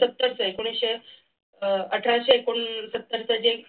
सत्तर एकोणविशे अठराशे एकोणसत्तर च जे